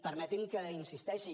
permeti’m que hi insisteixi